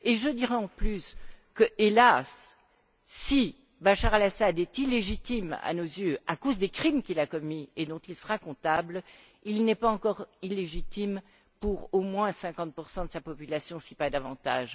Et je dirais en plus que, hélas, si Bachar el Assad est illégitime à nos yeux à cause des crimes qu'il a commis et dont il sera comptable, il n'est pas encore illégitime pour au moins 50 de sa population, si pas davantage.